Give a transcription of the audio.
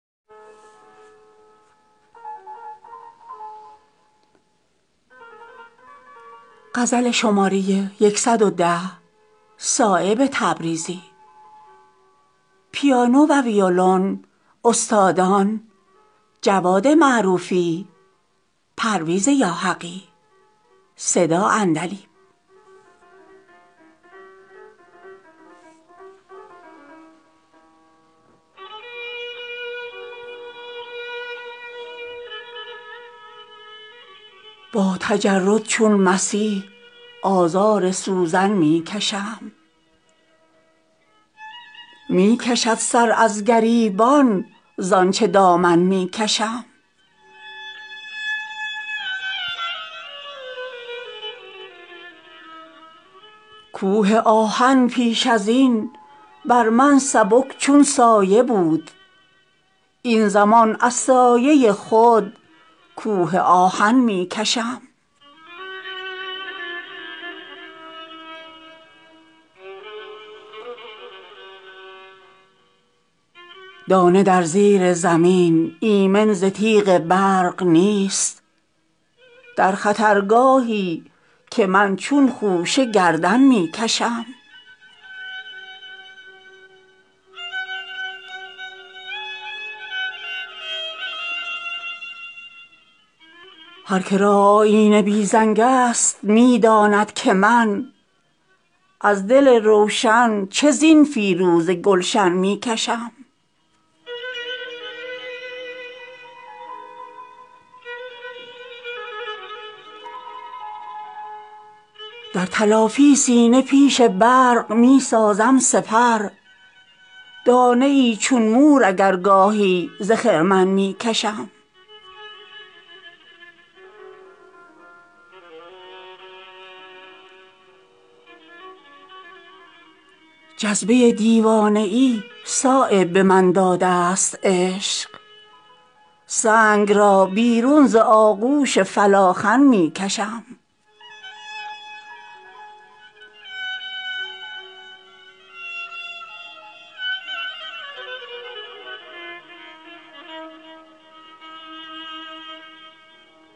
با تجرد چون مسیح آزار سوزن می کشم می کشد سرازگریبان زآنچه دامن می کشم کوه آهن پیش ازین بر من سبک چون سایه بود این زمان از سایه خود کوه آهن می کشم می دود چون سایه دنبالم به جان بی نفس از زلیخای جهان چندان که دامن می کشم دانه در زیر زمین ایمن ز تیغ برق نیست در خطر گاهی که من چون خوشه گردن می کشم عاشق یکرنگ با گل زیر یک پیراهن است از دل صد پاره خود ناز گلشن می کشم تا چو موسی نور وحدت سرمه در چشمم کشید از عصای خویش ناز نخل ایمن می کشم می شود فواره ی آتش ز اشک آتشین آستین چون موج شمع بر چشم روشن می کشم گوشه گیری چشم بد بسیار دارد در کمین میل آهی هر نفس در چشم روزن می کشم تنگ شد جای نفس بر من زچشم تنگ خلق رشته خود را برون زین چشم سوزن می کشم کشتی از بی لنگریها می رود در زیر بار از سبک سنگی گرانی چون فلاخن می کشم در گلستانی که یک نخل خزان دیده است خضر از رعونت برزمین چون سرو دامن می کشم هر که را آیینه بی رنگ است نمی داند که من از دل روشن چه زین فیروزه گلشن می کشم نیستم غافل زاحوال دل آزاران خویش سنگ بهر کودکان شبها به دامن می کشم در تلافی سینه پیش برق می سازم سپر دانه ای چون مور اگر گاهی ز خرمن می کشم جذبه دیوانه ای صایب داده است عشق سنگ را بیرون ز آغوش فلاخن می کشم